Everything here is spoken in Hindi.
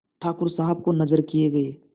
ठाकुर साहब को नजर किये गये